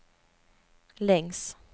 längs